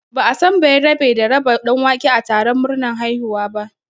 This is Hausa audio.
Ba'a san bayerabe da raba ɗanwake a taron murnar haihuwa ba